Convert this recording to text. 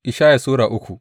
Ishaya Sura uku